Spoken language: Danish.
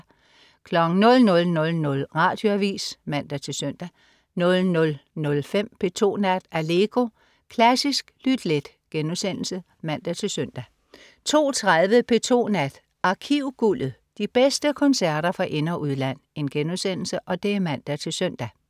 00.00 Radioavis (man-søn) 00.05 P2 Nat. Allegro. Klassisk lyt let* (man-søn) 02.30 P2 Nat. Arkivguldet. De bedste koncerter fra ind- og udland* (man-søn)